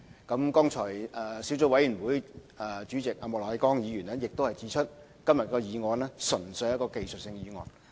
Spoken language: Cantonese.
相關的小組委員會主席莫乃光議員剛才亦指出，今天的議案純粹是一項技術性的議案。